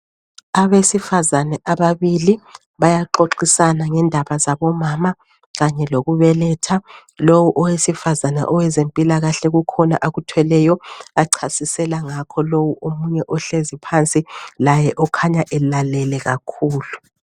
Abesifazana ababili bayaxoxisana ngendaba zabomama kanye lokubeletha lo owesifazana owezempilakahle kukhona akuthweleyo achasisela ngakho loyo omunye ohlezi phansi laye okhanya elalele kakhulu.